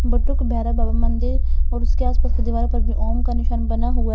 बटुक भैरव बाबा मंदिर और उसके आसपास के दीवारो पर भी ओम का निशान बना हुआ--